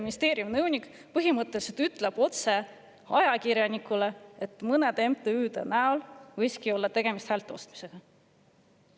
Ministeeriumi nõunik põhimõtteliselt ütleb ajakirjanikule otse, et mõne MTÜ näol võiski olla tegemist häälte ostmisega.